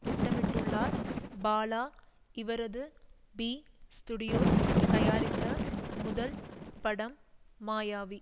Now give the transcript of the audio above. திட்டமிட்டுள்ளார் பாலா இவரது B studios தயாரித்த முதல் படம் மாயாவி